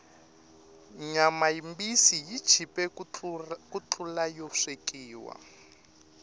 nyama yimbisi yi chipe ku tlula yo swekiwa